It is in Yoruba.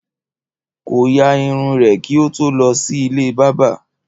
Kò ya irun rè kí o tó lọ sí ilé bábà